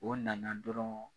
O nana dɔrɔn